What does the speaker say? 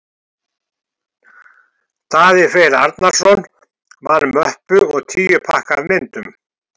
Daði Freyr Arnarsson vann möppu og tíu pakka af myndum.